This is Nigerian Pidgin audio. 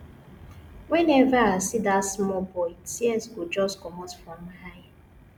whenever i see dat small boy tears go just comot for my eyes